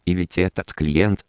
или тебе это